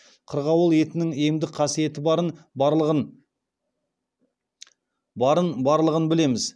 қырғауыл етінің емдік қасиеті барын барлығын білеміз